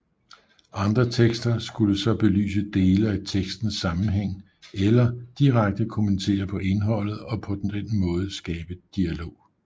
Andre tekster skulle så belyse dele af tekstens sammenhæng eller direkte kommentere på indholdet og på den måde skabe dialog